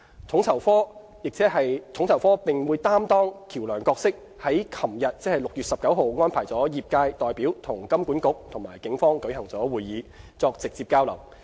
統籌科並擔當橋樑角色，於昨日安排業界代表與金管局及警方舉行會議，作直接交流。